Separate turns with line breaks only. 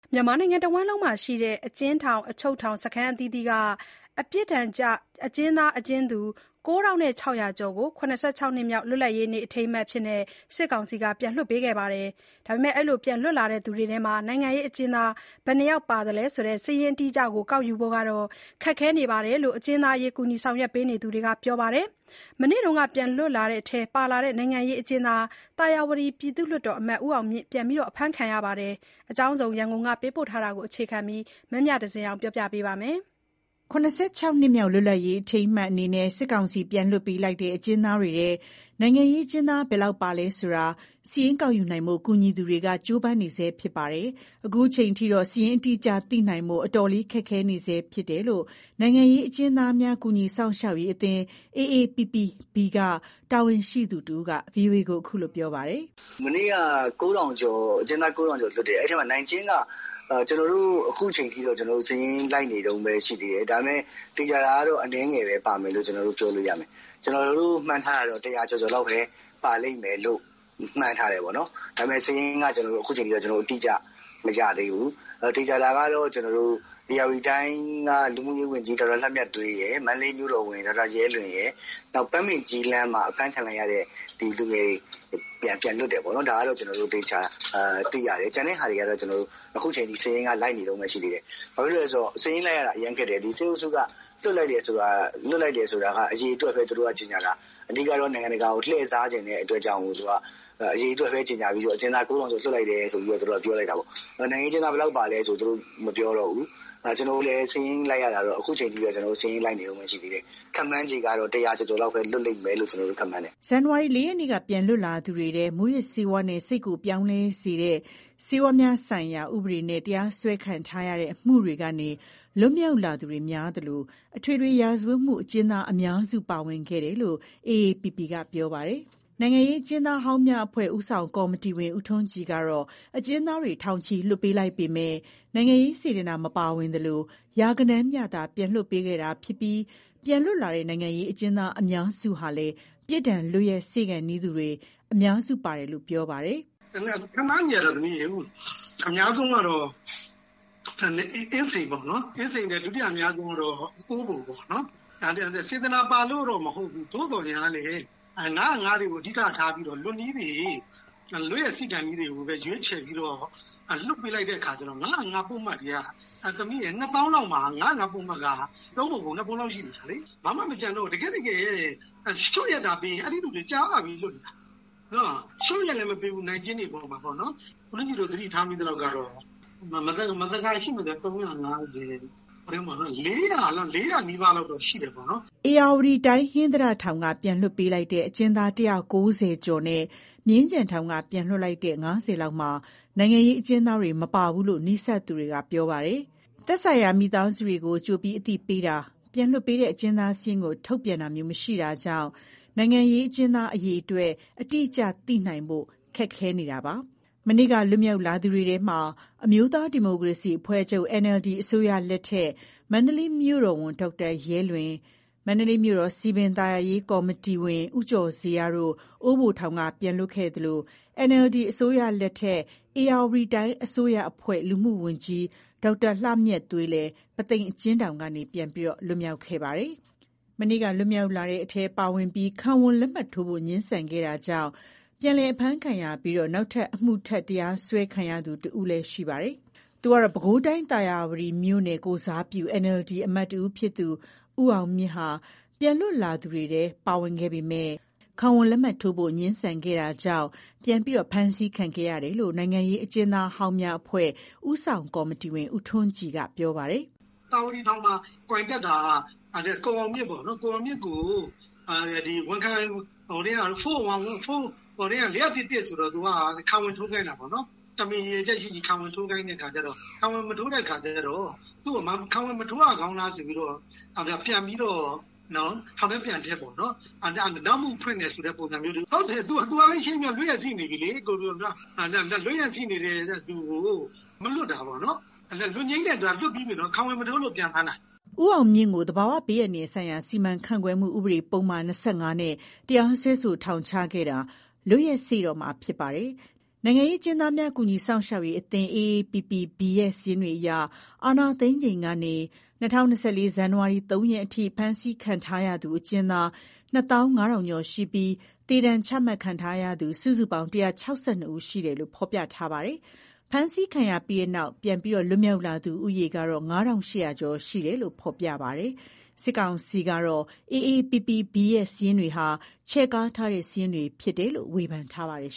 မြန်မာနိုင်ငံတဝှမ်းမှာရှိတဲ့ အကျဉ်းထောင်/အချုပ်ထောင် စခန်းအသီးသီးက ပြစ်ဒဏ်ကျ အကျဉ်းသား၊ အကျဉ်းသူ ၉,၆၀၀ ကျော်ကို ၇၆ နှစ်မြောက် လွတ်လပ်ရေးနေ့ အထိမ်းအမှတ်အဖြစ်နဲ့ စစ်ကောင်စီက လွှတ်ပေးခဲ့တာမှာ လွတ်မြောက်လာသူတွေထဲ နိုင်ငံရေးအကျဉ်းသား ဘယ်နှယောက် ပါဝင်တယ်ဆိုတဲ့ စာရင်းအတိအကျ ကောက်ယူဖို့ ခက်ခဲနေတယ်လို့ အကျဉ်းသားအရေး ကူညီဆောင်ရွက်ပေးနေသူတွေက ပြောပါတယ်။ တချိန်ထဲမှာဘဲ မနေ့ကပြန်လွတ်တဲ့အထဲပါလာတဲ့ နိုင်ငံရေးအကျဉ်းသား သာယာဝတီ ပြည်သူ့လွှတ်တော်အမတ် ဦးအောင်မြင့်ကတော့ ပြန်အဖမ်းခံခဲ့ရပါတယ်။ ဒီအကြောင်း ရန်ကုန်ကပေးပို့တဲ့သတင်းကို အခြေခံပြီး မမြသဇင်အောင်က ပြောပြပေးမှာပါ။ ၇၆ နှစ်မြောက် လွတ်လပ်ရေးနေ့ အထိမ်းအမှတ်အနေနဲ့ စစ်ကောင်စီက ပြန်လွတ်ပေးလိုက်တဲ့ အကျဉ်းသားတွေထဲ နိုင်ငံရေးအကျဉ်းသား ဘယ်လောက် ပါဝင်သလဲဆိုတာကို စာရင်းကောက်ယူနိုင်ဖို့ ကူညီသူတွေက ကြိုးပမ်းနေကြဆဲ ဖြစ်ပါတယ်။ အခုချိန်ထိတော့ စာရင်း အတိအကျ သိနိုင်ဖို့ အတော်လေး ခက်ခဲနေဆဲ ဖြစ်တယ်လို့ နိုင်ငံရေးအကျဉ်းသားများကူညီ စောင့်ရှောက်ရေးအသင်း AAPP-B က တာဝန်ရှိသူတဦးက ဗွီအိုအေကိုခုလိုပြောပြပါတယ်
။ “မနေ့ကအကျဉ်းသား ၉,၀၀၀ကျော်လွတ်တယ်။ အဲထဲမှာ နိုင်ကျဉ်း က ခုချိန်ထိ ကျနော်တို့ စာရင်းလိုက် နေတုန်းဘဲရှိသေးတယ်။ သေချာတာကတော့ အနည်းငယ်ဘဲ ပါတယ်လို့ပြောလို့ရမယ်။ ကျနော်တို့မှန်းထားတာ ၁၀၀ကျော်ကျော်လောက်ဘဲ ပါလိမ့်မယ်လို့ မှန်းထားတယ်။ ဒါမယ့်ခုချိန်ထိ စာရင်းကတိကျ မရသေးဘူး။ ဘာလို့လဲဆိုတော့ စာရင်းလိုက်ရတာ အရမ်းခက်တယ်။ စစ်အုပ်စုက လွတ်လိုက်တာက အရေအတွက်ဘဲ ကြေငြာတာ။ အဓိကကတော့ နိုင်ငံတကာကို လှည့်စားချင်တဲ့အတွက်ကြောင့်ပေါ့။ အရေအတွက်ဘဲ ကြေငြာပြီး အကျဉ်းသား ၉,၀၀၀ကျော်လွတ်လိုက်တယ်ဘဲ ပြောတာပေါ့။ နိုင်ငံရေးအကျဉ်းသား ဘယ်လောက်ပါလဲ မပြောတော့ဘူး။ စာရင်းကလည်း ကျနော်တို့ လိုက်နေတုန်းရှိသေးတယ်။ ခန့်မှန်းခြေ တရာကျော်ကျော်လောက်ဘဲ လွတ်မယ်မှန်းတယ်။” မနေ့
ဇန်နဝါရီ ၄ ရက်နေ့က ပြန်လွတ်လာသူတွေထဲ မူးယစ်ဆေးဝါးနဲ့ စိတ်ကိုပြောင်းလဲစေသော ဆေးဝါးများဆိုင်ရာ ဥပဒေနဲ့ တရား စွဲဆိုခံထားရတဲ့ အမှုတွေကနေ လွတ်မြောက်လာသူတွေများသလို အထွေထွေ ရာဇဝတ်အမှုအကျဉ်းသား အများစု ပါဝင်ခဲ့တယ်လို့ AAPP က ပြောပါတယ်။ နိုင်ငံရေးအကျဉ်းသားဟောင်းများအဖွဲ့ ဦးဆောင်ကော်မတီဝင် ဦးထွန်းကြည်ကတော့ အကျဉ်းသားတွေ ထောင်ချီ လွှတ်ပေးလိုက်ပေမဲ့ နိုင်ငံရေးစေတနာ မပါဝင်သလို ရာဂဏန်းမျှသာ ပြန်လွတ်ပေးခဲ့တာဖြစ်ပြီး ပြန်လွတ်လာတဲ့ နိုင်ငံရေးအကျဉ်းသားအများစုဟာလည်း ပြစ်ဒဏ်လွတ်ရက်စေ့ခါနီးသူတွေ အများစု ပါဝင်တယ်လို့ ပြောပါတယ်။
“ခန့်မှန်းခြေက အများဆုံးက အင်းစိန်ပေါ့။ ဒုတိယအများဆုံးကတော့ အိုးဘို(ထောင်)ပေါ့။ စေတနာပါလို့တော့ မဟုတ်ဘူး။ သို့သော်ညားလည်း ၅၀၅ တွေကို အဓိကထားပြီးတော့ လွတ်နီးတွေ၊ လွတ်ရက်စေ့ခါနီးတွေကိုဘဲ ရွေးချယ်ပြီးတော့ လွတ်ပေးလိုက်တဲ့အခါကျတော့ ၅၀၅ ပုဒ်မတွေက၊ အဖမ်းခံရတဲ့ သူ ၂၀,၀၀၀ လောက်မှာ ၅၀၅ ပုဒ်မက ၃ပုံ ပုံ ၂ပုံလောက် ရှိနေတာလေ။ ဘာမှ မကျန်တော့ဘူး။ တကယ့်တကယ် လျော့ရက်သာပေးရင် အဲလူတွေ ကြာလှပြီ လွတ်နေတာ။ လျော့ရက်လည်း မပေးဘူး နိုင်ကျဉ်းတွေ အပေါ်မှာ။ သတိထားမိသလောက်ကတော့ မသကာရှိမယ်ဆိုရင် ၃၅၀၊ ၄၀၀ နီးပါးလောက်တော့ ရှိတယ်။
” ဧရာဝတီတိုင်း၊ ဟင်္သာတထောင်က ပြန်လွှတ်ပေးလိုက်တဲ့ အကျဉ်းသား ၁၉၀ ကျော်နဲ့ မြင်းခြံထောင်က ပြန်လွှတ်ပေးလိုက်တဲ့ ၅၀ လောက်မှာ နိုင်ငံရေးအကျဉ်းသားတွေ မပါဘူးလို့လည်း နီးစပ်သူတွေက ပြောပါတယ်။ သက်ဆိုင်ရာ မိသားစုတွေကို ကြိုတင်အသိပေးတာ၊ ပြန်လွှတ်ပေးတဲ့ အကျဉ်းသားစာရင်းကို ထုတ်ပြန်တာမျိုး မရှိတာကြောင့် နိုင်ငံရေးအကျဉ်းသား အရေအတွက်ကို အတိအကျ သိနိုင်ဖို့ ခက်ခဲနေတာ ဖြစ်ပါတယ်။ မနေ့က လွတ်မြောက်လာသူတွေထဲမှာ အမျိုးသား ဒီမိုကရေစီအဖွဲ့ချုပ် (NLD) အစိုးရလက်ထက် မန္တလေး မြို့တော်ဝန် ဒေါက်တာ ရဲလွင်၊ မန္တလေးမြို့တော် စည်ပင်သာယာရေး ကော်မတီဝင် ဦးကျော်ဇေယျ တို့ အိုးဘိုထောင်ကနေ ပြန်လွတ်ခဲ့ကြသလို NLD အစိုးရလက်ထက် ဧရာဝတီတိုင်း အစိုးရအဖွဲ့ လူမှုဝန်ကြီး ဒေါက်တာ လှမြတ်သွေးလည်း ပုသိမ်အကျဉ်းထောင်ကနေ ပြန်လည် လွတ်မြောက်လာခဲ့ပါတယ်။ မနေ့က လွတ်မြောက်လာတဲ့အထဲ ပါဝင်ပြီး ခံဝန်လက်မှတ်ထိုးဖို့ ငြင်းဆန်ခဲ့တာကြောင့် ပြန်လည်အဖမ်းခံရပြီး နောက်ထပ်အမှုတပ် တရားစွဲခံရတဲ့သူတဦးလည်းရှိပါတယ်။ သူကတော့ ပဲခူးတိုင်း၊ သာယာဝတီမြို့နယ် ကိုယ်စားပြု NLD အမတ်တဦးဖြစ်သူ ဦးအောင်မြင့်ဟာလည်း ပြန်လွတ်လာသူတွေထဲ ပါဝင်ခဲ့ပေမယ့် ခံဝန်လက်မှတ်ထိုးဖို့ ငြင်းဆန်ခဲ့တာကြောင့် ပြန်လည် ဖမ်းဆီးခံခဲ့ရတယ်လို့ နိုင်ငံရေးအကျဉ်းသားဟောင်းများအဖွဲ့ ဦးဆောင်ကော်မတီဝင် ဦးထွန်းကြည်က အခုလို ပြောပါတယ်။
“သာယာဝတီထောင်မှာ ကွိုင်တက်တာက ကိုအောင်မြင့်ကို ဝန်ခံခိုင်းတာ ၄၀၁-၁ ဆိုတော့၊ ခံဝန် ထိုးခိုင်းတာပေါ့နော်။ တမင် ရည်ရွယ်ချက်ရှိရှိ ခံဝန်ထိုးခိုင်းတော့ မထိုးတဲ့အခါကျတော့ ခံဝန်မထိုးရကောင်းလားဆိုပြီး ပြန်ပြီး ထောင်ထဲပြန်ထည့်ပေါ့နော်။ နောက်မှုဖွင့်တဲ့သဘော။ ဟုတ်တယ် သူက လွတ်ဖို့၊ လွတ်ရက်စေ့နေပြီလေ။ လွတ်ရက်စေ့နေတဲ့သူကို မလွတ်တာပေါ့။ လွတ်ငြိမ်းနဲ့လွတ်ပြီးပြီ၊ ခံဝန်မထိုးလို့ ပြန်ဖမ်းတာ။
” ဦးအောင်မြင့်ကို သဘာဝဘေးအန္တရာယ်ဆိုင်ရာ စီမံခန့်ခွဲမှု ဥပဒေပုဒ်မ ၂၅ နဲ့ တရားစွဲဆို ထောင်ချခဲ့တာ လွတ်ရက်စေ့တော့မှာ ဖြစ်ပါတယ်။ နိုင်ငံရေး အကျဉ်းသားများ ကူညီစောင့်ရှောက်ရေးအသင်း AAPP-B ရဲ့ စာရင်းတွေအရ အာဏာသိမ်းချိန်ကနေ ၂၀၂၄ ဇန်နဝါရီ ၃ရက်ထိ ဖမ်းဆီးခံထားရသူ အကျဉ်းသား ၂၅,၀၀၀ ကျော်ရှိပြီး သေဒဏ် ချမှတ်ခံထားရသူ စုစုပေါင်း ၁၆၂ ဦး ရှိတယ်လို့ ဖော်ပြထားပါတယ်။ ဖမ်းဆီးခံရပြီးနောက် ပြန်လည်လွတ်မြောက်လာသူ ဦးရေကတော့ ၅,၈၀၀ ကျော်ရှိတယ်လို့လည်း ဖော်ပြထားပါတယ်။ စစ်ကောင်စီကတော့ AAPP-B ရဲ့ စာရင်းတွေဟာ ချဲ့ကားထားတဲ့ စာရင်းတွေဖြစ်တယ်လို့ ဝေဖန်ထားပါတယ်